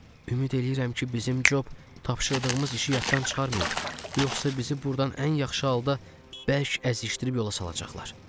Ümid eləyirəm ki, bizim Job tapşırdığımız işi yaddan çıxarmayıb, yoxsa bizi burdan ən yaxşı halda bərk əzişdirib yola salacaqlar.